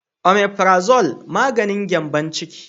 "Omiprazole " maganin gyanbon ciki.